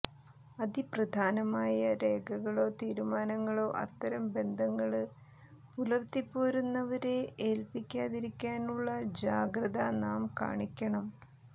അതിപ്രധാനമായ രേഖകളോ തീരുമാനങ്ങളോ അത്തരം ബന്ധങ്ങള് പുലര്ത്തിപ്പോരുന്നവരെ ഏല്പിക്കാതിരിക്കുവാനുള്ള ജാഗ്രത നാം കാണിക്കണം